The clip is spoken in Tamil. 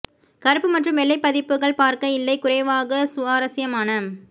கருப்பு மற்றும் வெள்ளை பதிப்புகள் பார்க்க இல்லை குறைவாக சுவாரஸ்யமான